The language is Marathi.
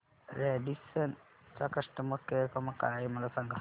रॅडिसन चा कस्टमर केअर क्रमांक काय आहे मला सांगा